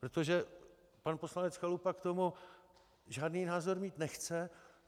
Protože pan poslanec Chalupa k tomu žádný názor mít nechce.